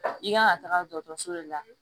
I kan ka taga dɔgɔtɔrɔso de la